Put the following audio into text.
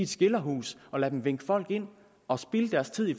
skilderhus og lade dem vinke folk ind og spilde deres tid i